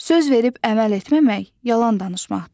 Söz verib əməl etməmək yalan danışmaqdır.